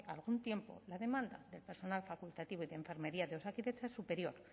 algún tiempo la demanda de personal facultativo y de enfermería de osakidetza es superior